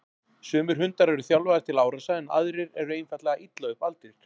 Sumir hundar eru þjálfaðir til árása en aðrir eru einfaldlega illa upp aldir.